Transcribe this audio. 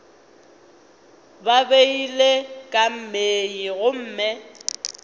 ba beilwe ka mei gomme